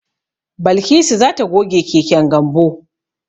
Balkisu za ta goge keken Gambo.